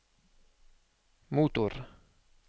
motor